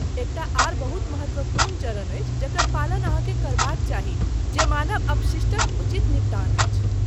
एकटा आओर बहुत महत्वपूर्ण चरण अछि जकर पालन अहाँकेँ करबाक चाही, जे मानव अपशिष्टक उचित निपटान अछि।